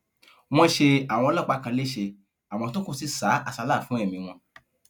wọn ṣe àwọn ọlọpàá kan lẹsẹ àwọn tó kù sì sá àsálà fún ẹmí wọn